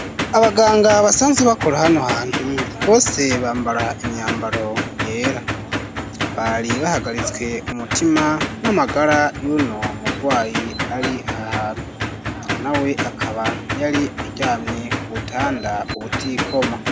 Abaganga basanzwe bakora hano hantu bose bambara imyambaro yera bari bahagaritswe umutima n'amagara y'uno murwayi ari aha na we akaba yari aryamye ku butanda ubutikoma.